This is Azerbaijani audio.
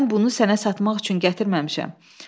Mən bunu sənə satmaq üçün gətirməmişəm.